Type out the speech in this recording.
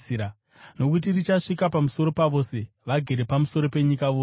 Nokuti richasvika pamusoro pavose vagere pamusoro penyika yose.